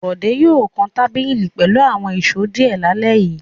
Bọ̀dé yóò kan tábìlì pẹ̀lú àwọn ìṣó díẹ̀ lálẹ́ yìí.